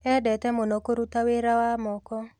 Endete mũno kũruta wĩra wa moko.